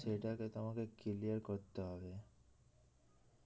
সেটাকে তো আমাদের clear করতে হবে